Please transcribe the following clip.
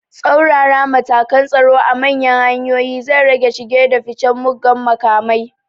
Tsaurara matakan tsaro a manyan hanyoyi zai rage shige da ficen mugan makamai